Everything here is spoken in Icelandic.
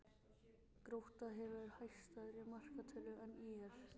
Grótta hefur hagstæðari markatölu en ÍR